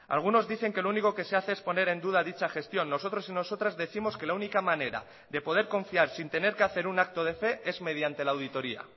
algunos dicen que lo único que se hace es poner en duda dicha gestión nosotros y nosotras décimos que la única manera de poder confiar sin tener que hacer un acto de fe es mediante la auditoria